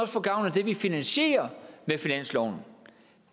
få gavn af det vi finansierer med finansloven